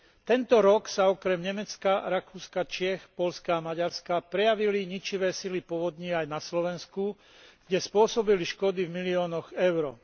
Tento rok sa okrem Nemecka, Rakúska, Čiech, Poľska a Maďarska prejavili ničivé sily povodní aj na Slovensku, kde spôsobili škody v miliónoch eur.